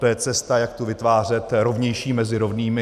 To je cesta, jak tu vytvářet rovnější mezi rovnými.